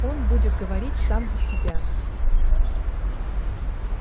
он будет говорить сам за себя